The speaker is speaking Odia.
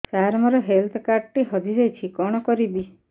ସାର ମୋର ହେଲ୍ଥ କାର୍ଡ ଟି ହଜି ଯାଇଛି କଣ କରିବି